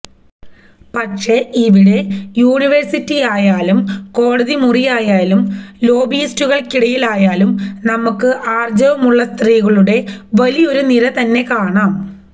പക്ഷെ ഇവിടെ യൂണിവേഴ്സിറ്റിയിലായാലും കോടതിമുറിയിലായാലും ലോബിയിസ്റ്റുകള്ക്കിടയാലായാലും നമുക്ക് ആര്ജ്ജവമുള്ള സ്ത്രീകളുടെ വലിയൊരു നിര തന്നെ കാണാം